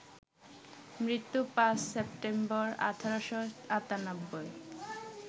মৃত্যু ৫ সেপ্টেম্বর, ১৮৯৮